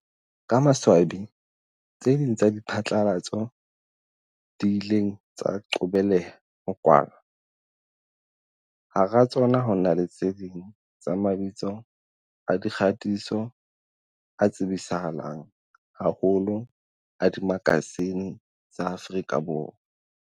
Ka maswa bi, tse ding tsa diphatlalatso di ile tsa qobeleha ho kwalwa, hara tsona ho na le tse ding tsa mabitso a dikgatiso a tsebisa halang haholo a dimakasine tsa Afrika Borwa.